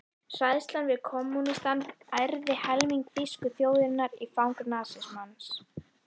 Hræðslan við kommúnismann ærði helming þýsku þjóðarinnar í fang nasismans.